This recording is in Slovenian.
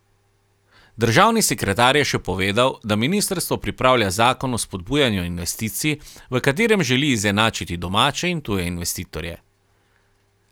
Državni sekretar je še povedal, da ministrstvo pripravlja zakon o spodbujanju investicij, v katerem želi izenačiti domače in tuje investitorje.